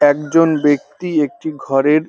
একজন ব্যাক্তি একটি ঘরের --